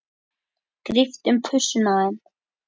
Gríptu um pussuna á þeim.